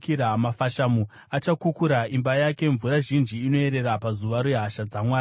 Mafashamu achakukura imba yake, mvura zhinji ichaerera pazuva rehasha dzaMwari.